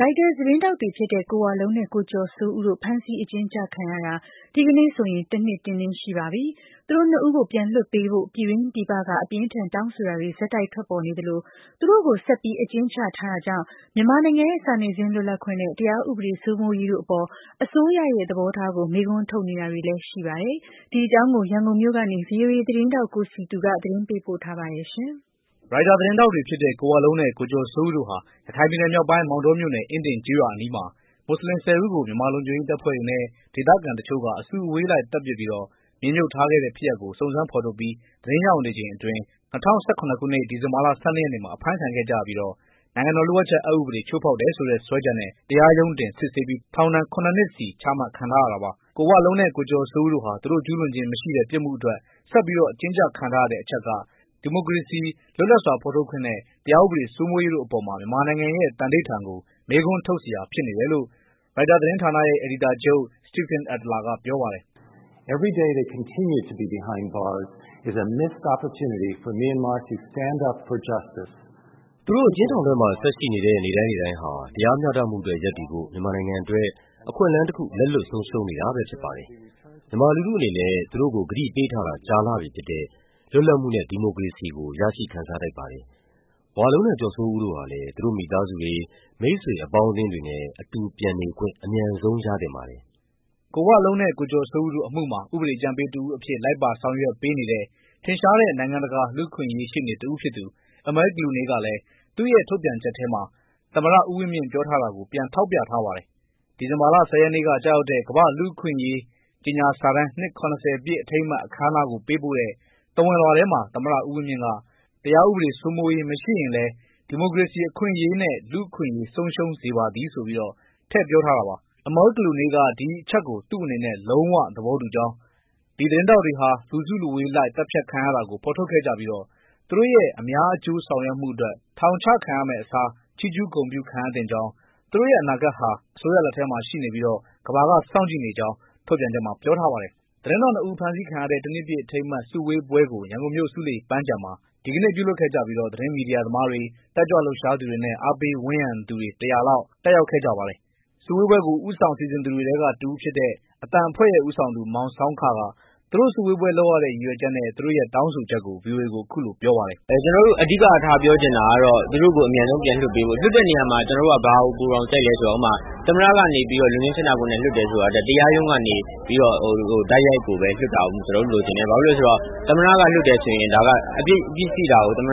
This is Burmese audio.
ရိုက်တာသတင်းထောက်တွေဖြစ်တဲ့ ကိုဝလုံးနဲ့ ကိုကျော်စိုးဦးတို့ ဖမ်းဆီးအကျဉ်းချခံရတာ ဒီကနေ့ဆိုရင် တနှစ် တင်းတင်းပြည့်သွားပါပြီ။ သူတို့နှစ်ဦးကို ပြန်လွှတ်ပေးဖို့ ပြည်တွင်းပြည်ပက အပြင်းအထန် တောင်းဆိုတာတွေ ဆက်တိုက် ထွက်ပေါ်နေသလို သူတို့ကို ဆက်ပြီး အကျဉ်းချထားတာကြောင့် မြန်မာနိုင်ငံရဲ့ စာနယ်ဇင်းလွတ်လပ်ခွင့်နဲ့ တရားဥပဒေစိုးမိုးရေးတို့အပေါ် အစိုးရရဲ့သဘောထားကို မေးခွန်းထုတ်တာတွေလည်း ရှိနေပါတယ်။ ဒီအကြောင်း ရန်ကုန်မြို့ကနေ ဗွီအိုအေသတင်း ထောက် ကိုစည်သူက သတင်းပေးပို့ထားပါတယ်။ ရိုက်တာသတင်းထောက်တွေဖြစ်တဲ့ ကိုဝလုံးနဲ့ ကိုကျော်စိုးဦးတို့ဟာ ရခိုင်ပြည်နယ်မြောက်ပိုင်း၊ မောင်းတောမြို့နယ်၊ အင်းဒင် ကျေးရွာအနီးမှာ မွတ်ဆလင် ၁၀ ဦးကို မြန်မာလုံခြုံရေးတပ်ဖွဲ့တွေနဲ့ ဒေသခံတချို့က အစုအဝေးလိုက်သတ်ပစ်ပြီး မြေမြှုပ်ထားခဲ့ တဲ့ဖြစ်ရပ်ကို စုံစမ်းဖော်ထုတ်ပြီး သတင်းရယူနေချိန်အတွင်း ၂၀၁၇ ခုနှစ်၊ ဒီဇင်ဘာလ ၁၂ ရက်နေ့မှာ အဖမ်းခံခဲ့ကြရပြီးတော့ နိုင်ငံတော်လျှို့ဝှက်ချက် အက်ဥပဒေကို ချိုးဖောက်တယ်ဆိုတဲ့စွဲချက်နဲ့ တရားရုံးတင် စစ်ဆေးပြီး ထောင်ဒဏ် ၇ နှစ်စီ ချမှတ်ခံ ထားရတာပါ။ ကိုဝလုံးနဲ့ ကိုကျော်စိုးဦးတို့ဟာ သူတို့ ကျူးလွန်ခြင်းမရှိတဲ့ ပြစ်မှုအတွက် ဆက်ပြီး အကျဉ်းချခံထားရတဲ့အချက်က ဒီမိုကရေစီ၊ လွတ်လပ်စွာ ထုတ်ဖော်ခွင့်နဲ့ တရားဥပဒေ စိုးမိုးရေးတို့အပေါ် မြန်မာနိုင်ငံရဲ့ သန္နိဋ္ဌာန်ကို မေးခွန်းထုတ်စရာဖြစ်နေတယ်လို့ ရိုက်တာသတင်းဌာနရဲ့အယ်ဒီတာချုပ် Stephen J. Adler က ပြောပါတယ်။ “သူတို့ အကျဉ်းထောင်ထဲမှာ ဆက်ရှိနေတဲ့ နေ့တိုင်းနေ့တိုင်းဟာ တရားမျှတမှုအတွက် ရပ်တည်ဖို့ မြန်မာနိုင်ငံအတွက် အခွင့်အလန်းတခု လက်လွတ်ဆုံးရှုံးနေတာပဲဖြစ်ပါတယ်။ မြန်မာလူထုအနေနဲ့ သူတို့ကို ကတိပေးထားတာ ကြာလှပြီဖြစ်တဲ့ လွတ်လပ်မှုနဲ့ ဒီမိုကရေစီကို ရရှိခံစားထိုက်ပါတယ်။ ဝလုံးနဲ့ ကျော်စိုးဦးတို့ဟာလည်း သူတို့မိသားစုတွေ၊ မိတ်ဆွေအပေါင်းအသင်း တွေနဲ့ အတူပြန်နေခွင့် အမြန်ဆုံးရသင့်ပါတယ်။” ကိုဝလုံးနဲ့ ကိုကျော်စိုးဦးတို့အမှုမှာ ဥပဒေအကြံပေးတဦးအဖြစ် လိုက်ပါဆောင်ရွက်ပေးနေတဲ့ ထင်ရှားတဲ့ နိုင်ငံတကာ လူ့အခွင့် အရေးရှေ့နေတဦးဖြစ်သူ Amal Clooney ကလည်း သူ့ရဲ့ထုတ်ပြန်ချက်ထဲမှာ သမ္မတဦးဝင်းမြင့် ပြောထားတာကို ပြန်ထောက်ပြ ထားပါတယ်။ ဒီဇင်ဘာလ ၁၀ ရက်နေ့ကကျရောက်တဲ့ ကမ္ဘာ့လူ့အခွင့်အရေး ကြေညာစာတမ်း နှစ် ၇၀ ပြည့်အထိမ်းအမှတ် အခမ်းအနားကို ပေးပို့တဲ့ သဝဏ်လွှာထဲမှာ သမ္မတဦးဝင်းမြင့်က “တရားဥပဒေ စိုးမိုးရေးမရှိလျှင်လည်း ဒီမိုကရေစီအခွင့်အရေးနှင့် လူ့အခွင့်အရေး ဆုံးရှုံးစေပါသည်” ဆိုပြီး ထည့်ပြောထားတာပါ။ Amal Clooney က “ဒီအချက်ကို သူ့အနေနဲ့ လုံးဝသဘောတူကြောင်း၊ ဒီသတင်းထောက်တွေဟာ လူစုလူဝေးလိုက် သတ်ဖြတ်ခံ ရတာကို ဖော်ထုတ်ခဲ့ကြပြီး သူတို့ရဲ့ အများအကျိုးဆောင်ရွက်မှုအတွက် ထောင်ချခံရမယ့်အစား ချီးကျူးဂုဏ်ပြုခံရသင့်ကြောင်း၊ သူတို့ရဲ့အနာဂတ်ဟာ အစိုးရလက်ထဲမှာရှိနေပြီး ကမ္ဘာက စောင့်ကြည့်နေကြောင်း” ထုတ်ပြန်ချက်မှာ ပြောထားပါတယ်။ သတင်းထောက်နှစ်ဦး ဖမ်းဆီးခံရတဲ့ တနှစ်ပြည့်အထိမ်းအမှတ် စုဝေးပွဲတခုကို ရန်ကုန်မြို့၊ ဆူးလေပန်းခြံမှာ ဒီကနေ့ လုပ်ကြပြီး သတင်းမီဒီယာသမားတွေ၊ တက်ကြွလှုပ်ရှားသူတွေနဲ့ အားပေးဝန်းရံသူတွေ စုစုပေါင်း လူ ၁၀၀ လောက် တက်ရောက် ပါတယ်။ စုဝေးပွဲကို ဦးဆောင်စီစဉ်သူတွေထဲက တဦးဖြစ်တဲ့ အသံအဖွဲ့ရဲ့ဦးဆောင်သူ မောင်ဆောင်းခ က သူတို့ စုဝေးပွဲလုပ်ရတဲ့ ရည်ရွယ်ချက်နဲ့ သူတို့ရဲ့ တောင်းဆိုချက်ကို ဗွီအိုအေကို အခုလိုပြောပါတယ်။ "ကျနော်တို့အဓိကထားပြောချင်တာကတော့ သူတို့ကို အမြန်ဆုံးပြန်လွှတ်ပေးဖို့ လွှတ်တဲ့နေရာမှာလည်း ကျနော်တို့က ဘာကို ပိုတောင်ကြိုက်သလဲဆိုတော့ သမ္မတကနေပြီးတော့ လွှတ်ငြိမ်းချမ်းသာခွင့်နဲ့ လွှတ်တယ်ဆိုတာထက် တရားရုံးကနေ တိုက်ရိုက်ကိုပဲ လွှတ်တာကိုပဲ ကျနော်တို့လိုချင်တယ်။ ဘာဖြစ်လို့လဲဆိုတော့ သမ္မတကနေပြီးတော့ လွှတ်တယ်ဆိုရင် ဒါ အပြစ်ရှိတာကို သမ္မတ